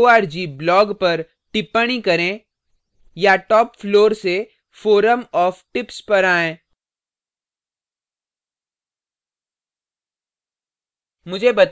org blog पर tips करें या top floor से forum of tips पर आयें